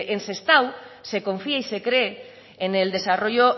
en sestao se confía y se cree en el desarrollo